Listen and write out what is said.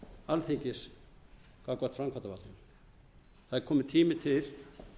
alþingis gagnvart framkvæmdarvaldinu það er kominn tími til